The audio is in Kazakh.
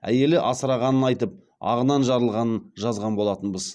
әйелі асырағанын айтып ағынан жарылғанын жазған болатынбыз